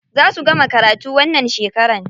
Za su gama karatu wannan shekara.